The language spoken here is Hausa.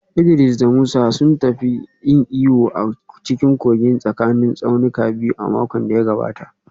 Idris da Musa sun tafi yin iyo a cikin kogin tsakanin tsaunukan biyu a makon da ya gabata